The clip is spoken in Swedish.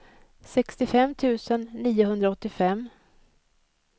sextiofem tusen niohundraåttiofem